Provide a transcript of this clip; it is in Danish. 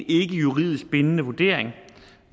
juridisk bindende vurdering